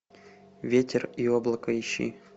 ветер и облако ищи